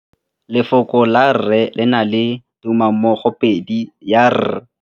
Lefoko la rre le na le tumammogôpedi ya, r.